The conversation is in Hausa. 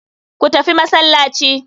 Ku tafi masallaci.